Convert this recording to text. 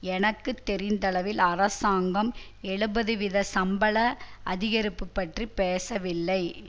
எனக்கு தெரிந்தளவில் அரசாங்கம் எழுபது வீத சம்பள அதிகரிப்பு பற்றி பேசவில்லை